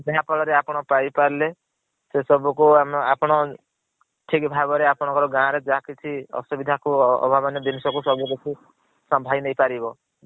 ଯାହା ଫଳ ରେ ଆପଣ ପାଇ ପାରିଲେ ସେ ସବୁ କୁ ଆମେ ଆପଣ ଠିକ ଭାବ ରେ ଅପଣ କଂ ଗାଁ ରେ ଯାହା କିଛି ଆସୁବିଧା କୁ ଆଭାବନିୟ ଜିନିଷ କୁ ସବୁ କିଛି ସମ୍ଭାଳି ନେଇ ପାରିବ।